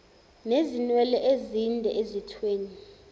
nezinwele ezinde ezithweni